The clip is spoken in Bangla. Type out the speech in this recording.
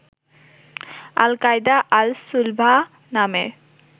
আল কায়দা আল সুলবাহ নামের